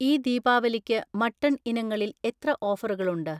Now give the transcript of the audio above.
ഈ ദീപാവലിക്ക് മട്ടൺ ഇനങ്ങളിൽ എത്ര ഓഫറുകളുണ്ട്?